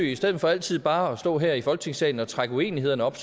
i stedet for altid bare at stå her i folketingssalen og trække uenighederne op